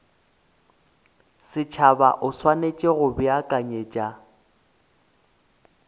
setšhaba o swanetše go beakanyetša